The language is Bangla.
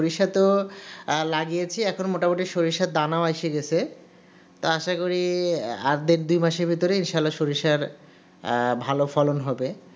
সরষে তো লাগিয়েছি এখন মোটামুটি সরিষার দানাও এসে গেছে তা আশা করি আর দেড় দুই মাসের সরিষার আহ ভালো ফলন হবে